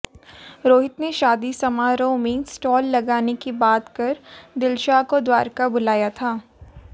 रोहित ने शादी समारोह में स्टाल लगाने की बात कर दिलशाद को द्वारका बुलाया था